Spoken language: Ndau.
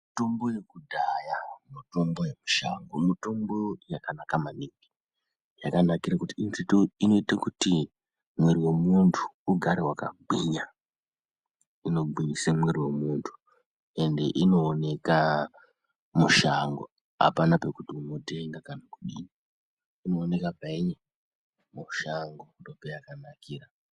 Mitombo yekudhaya mitombo yemushango mitombo yakanaka maningi yakanakire kuti inoite kuti mwiri wemuntu ugare waka gwinya ino gwinyise mwiri wemuntu ende inooneka mushango apana pekuti unotenga kana kudini inooneka painyi mushango ndo payakanakira.